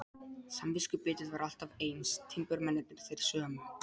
Samviskubitið var alltaf eins, timburmennirnir þeir sömu.